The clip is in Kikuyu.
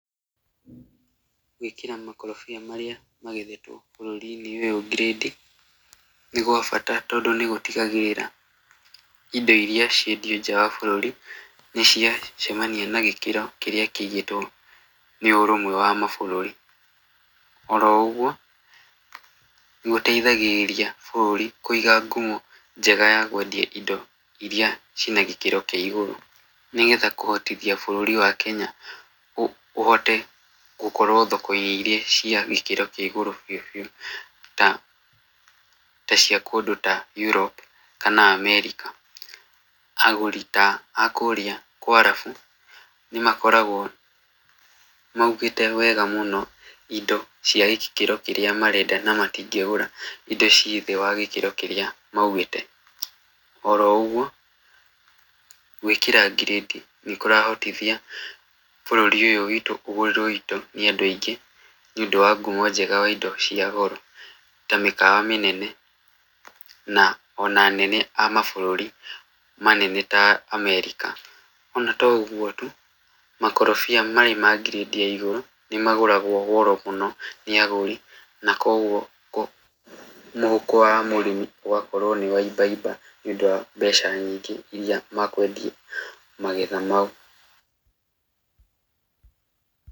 Gũĩkĩra makorobia marĩa magethetwo bũrũri~inĩ ũyũ ngirĩndi nĩ gwa bata tondũ nĩgũtigagĩrĩra indo iria ciendio nja wa bũrũri nĩ cia cemania na gĩkĩro kĩrĩa kĩigĩtwo nĩ ũrũmwe wa ma bũrũri. Oroũgwo nĩ gũteithagĩrĩria bũrũri kũiga ngumo Njega ya kwendia indo iria cina gĩkĩro kĩa igũrũ nĩ getha kũhotithia bũrũri wa Kenya ũhote gũkorwo thoko~inĩ iria cia gĩkĩro kĩa igũrũ biu biu ta cia kũndũ ta Europe kana America. Agũri ta a kũrĩa kwa arabu nĩ makoragwo maugĩte wega muno indo cia gĩkĩro kĩrĩa marenda na matingĩgũra indo ci thĩ wa gĩkĩro kĩrĩa maŭgĩte. Oroũgwo gwĩkĩra ngirĩndi nĩ kũrahotithia bũrũri ũyũ wĩtũ ũgũrĩrwo indo nĩ andu aingĩ nĩ ũndũ wa ngumo njega wa indo cia goro ta mĩkawa mĩnene na ona anene a mabũrũri manene ta America. Ona to ũgwo tu makorobia marĩ ma ngirĩndi ya igũrũ nĩ magũragwo goro muno nĩ agũri na kogwo mũhuko wa mũrĩmi ũgakorwo ni waimbaimba nĩ ũndũ wa mbeca nyingĩ iria makwendia magetha mau.